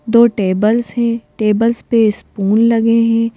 दो टेबल्स हैं टेबल्स पे स्पून लगे हैं।